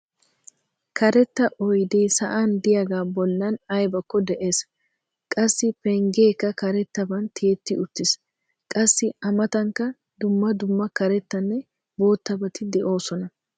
Karetta oydee sa'an diyagaa bollan aybbakko des. Qassi pengeekka karettaban tiyetti uttis. Qassi a matankka dumma dumma karetanne boottabati doosona.